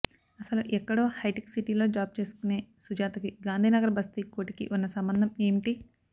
అసలు ఎక్కడో హైటెక్ సిటీలో జాబ్ చేసుకునే సుజాతకి గాంధీ నగర్ బస్తీ కోటికి ఉన్న సంబంధం ఏమిటి